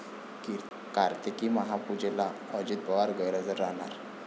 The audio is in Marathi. कार्तिकी महापूजेला अजित पवार गैरहजर राहणार?